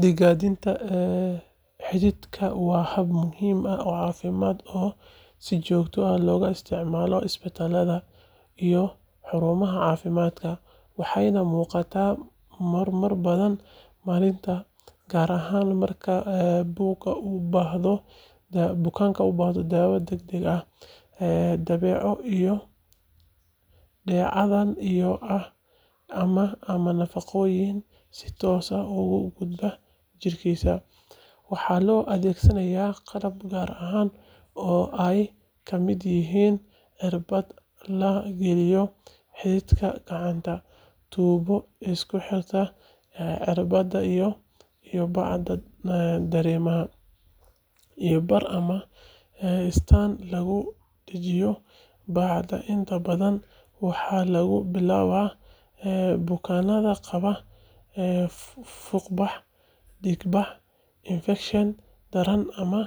Dhiiggalinta xididka waa hab muhiim ah oo caafimaad oo si joogto ah loogu isticmaalo isbitaallada iyo xarumaha caafimaadka, waxayna muuqataa marar badan maalintii, gaar ahaan marka bukaan u baahdo daawo degdeg ah, dheecaan biyo ah, ama nafaqooyin si toos ah ugu gudba dhiiggiisa. Waxaa loo adeegsadaa qalab gaar ah oo ay ka mid yihiin irbad la geliyo xididka gacanta, tuubo isku xirta irbadda iyo bacda dareeraha, iyo bir ama istaand lagu dhejiyo bacda. Inta badan waxaa lagu bilaabaa bukaanada qaba fuuqbax, dhiig-bax, infekshan daran ama